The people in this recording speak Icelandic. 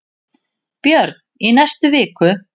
Björn: Í næstu viku?